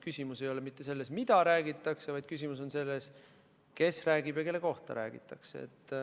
Küsimus ei ole mitte selles, mida räägitakse, vaid küsimus on selles, kes räägib ja kelle kohta.